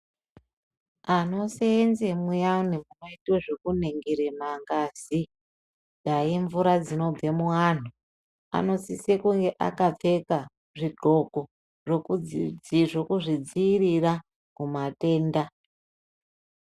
Anosenze muyani munoitwa ngezve kuningira mangazi dai imvura dzinobve muantu anosise kunge akapfeka zvidyxoko zvekuzvidzivirira kumatenda.